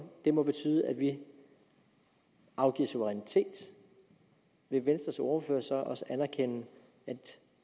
må betyde at vi afgiver suverænitet vil venstres ordfører så også anerkende at